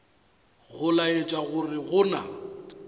go laetša gore go na